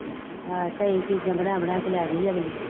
ਹਾਂ ਕਈ ਚੀਜ਼ਾਂ ਬਣਾ ਬਣਾ ਕੇ ਲੈ ਗਈ ਅਗਲੀ